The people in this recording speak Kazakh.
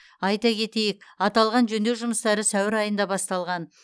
айта кетейік аталған жөндеу жұмыстары сәуір айында басталған